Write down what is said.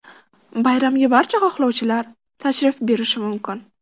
Bayramga barcha xohlovchilar tashrif buyurishi mumkin.